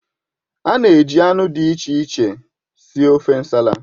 A na-eji anụ dị iche iche sie ofe Nsala.